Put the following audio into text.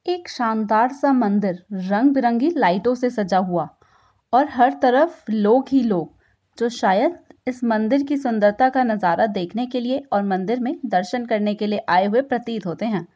एक शानदार सा मंदिर रंग बिरंगी लाईटो से सजा हुआ और हर तरफ लोग ही लोग जो शायद इस मंदिर की सुन्दरता का नजारा देखने के लिए और मंदिर मे दर्शन करने के लिए आये हुए प्रतीत होते हैं।